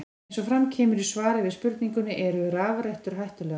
Eins og fram kemur í svari við spurningunni Eru rafrettur hættulegar?